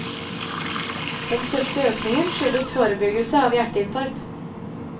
Den største økningen skyldes forebyggelse av hjerteinfarkt.